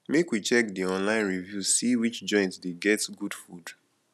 make we check di online reviews see which joint dey get good food